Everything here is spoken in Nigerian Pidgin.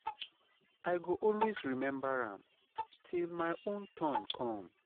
I go always remember am, till my own turn come.